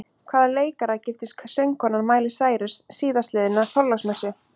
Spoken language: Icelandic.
Hvaða leikara giftist söngkonan Miley Cyrus síðastliðna þorláksmessu?